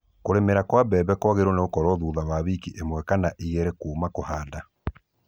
kũrĩmĩra kwa mbere kwagĩrĩirwo thutha wa wiki 1-2 kuuma kũhanda.